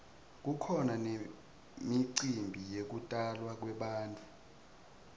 kukhona nemicimbi yekutalwa kwebantfu